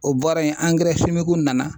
O bɔra yen nana